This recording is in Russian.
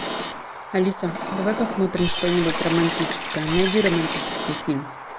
алиса давай посмотрим что нибудь романтическое найди романтический фильм